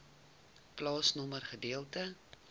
plaasnommer gedeelte